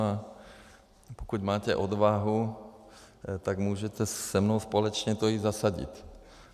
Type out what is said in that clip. A pokud máte odvahu, tak můžete se mnou společně to jít zasadit.